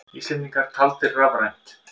Íslendingar taldir rafrænt